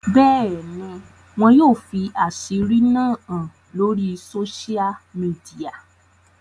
Bẹ́ẹ̀ni, wọn yoo fi asiri náa han lori sósial mìdìya.